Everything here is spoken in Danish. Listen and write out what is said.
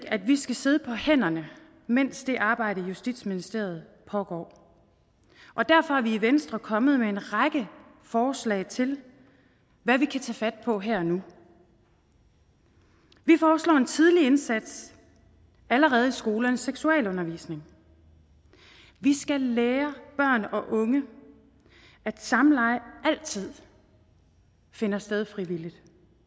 at vi skal sidde på hænderne mens det arbejde i justitsministeriet pågår og derfor er vi i venstre kommet med en række forslag til hvad vi kan tage fat på her og nu vi foreslår en tidlig indsats allerede i skolernes seksualundervisning vi skal lære børn og unge at samleje altid finder sted frivilligt